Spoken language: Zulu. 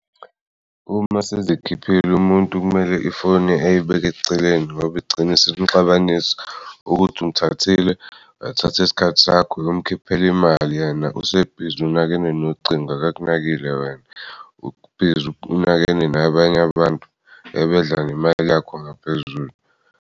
Uma sizikhiphile umuntu kumele ifoni eyibeke celeni ngoba igcine isinixabanisa ukuthi umthathile, wathathe isikhathi sakho uyomkhiphela imali yena. Ubhizi unakene nocingo, akakunakile wena. Ubhizi unakene nabanye abantu ebedla nemali yakho ngaphezulu.